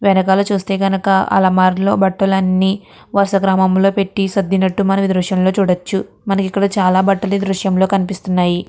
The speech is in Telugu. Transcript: వెనకాల చూస్తే కనుక అలమార్ లొ బట్టలన్నీ వరుస క్రమంలో పెట్టి సర్దినట్లు మనమీ దృశ్యంలో చూడచ్చు. మనకి ఇక్కడ చాలా బట్టలు ఈ దృశ్యంలో కనిపిస్తున్నాయి.